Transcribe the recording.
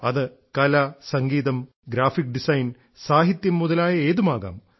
അത് കല സംഗീതം ഗ്രാഫിക് ഡിസൈൻ സാഹിത്യം മുതലായ ഏതുമാകാം